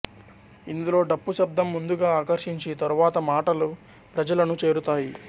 ఇందులో డప్పు శబ్దం ముందుగా ఆకర్షించి తరువాత మాటలు ప్రజలను చేరుతాయి